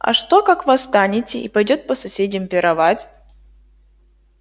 а что как восстанете и пойдёе по соседям пировать